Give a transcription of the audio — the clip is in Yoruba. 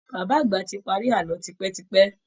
Bàbá àgbà ti parí àlọ́ tipẹ́ tipẹ́